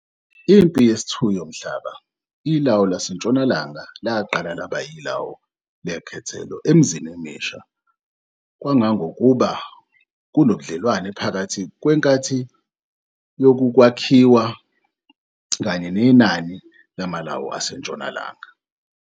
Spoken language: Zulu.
impi yesi-2 yomhlaba, ilawu laseNtshonalanga laqala laba ilawu lekhethelo emzini emisha kangangokuba kunobudlelwao phakathi kwenkathi yokwakhiwa kanye nenani lamalawu aseNtshonalanga.